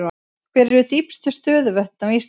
Hver eru dýpstu stöðuvötn á Íslandi?